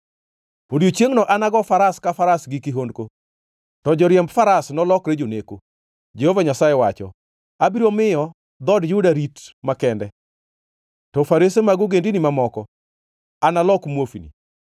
Odiechiengno anago faras ka faras gi kihondko, to joriemb faras nolokre joneko,” Jehova Nyasaye wacho. “Abiro miyo dhood Juda rit makende, to farese mag ogendini mamoko analok muofni.